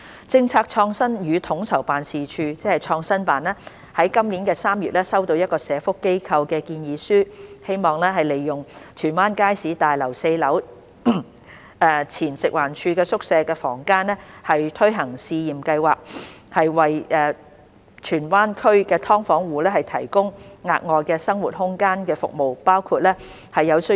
政策創新與統籌辦事處於今年3月收到一個社福機構的建議書，希望利用荃灣街市大樓4樓前食環署宿舍房間推行試驗計劃，為荃灣區"劏房"住戶提供額外生活空間的服務。